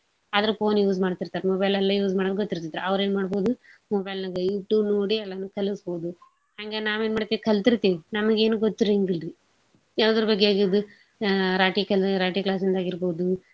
ಆದ್ರ phone use ಮಾಡ್ತಿರತಾರ mobile ಎಲ್ಲಾ use ಮಾಡೋದ್ ಗೊತ್ತಿರ್ತೇತ್ ಅವ್ರ ಎನ್ ಮಾಡ್ಬೋದು mobile ನ್ಯಾಗ YouTube ನೋಡಿ ಎಲ್ಲಾನೂ ಕಲ್ಸ್ಬೋದು ಹಂಗ ನಾವ್ ಎನ್ ಮಾಡ್ತೇವಿ ಕಲ್ತೀರ್ತೇವಿ ನಮ್ಗ ಏನು ಗೊತ್ತಿರಂಗಿಲ್ರೀ ಯಾವ್ದರ ಬಗ್ಗೆ ಆಗಿದು~ ಅ ರಾಟಿ ಕಲ~ ರಾಟಿ class ಇಂದ ಆಗೀರ್ಬೋದು.